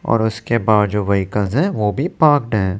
और उसके बाद जो वेहिकल हैं वो भी पार्क्ड हैं।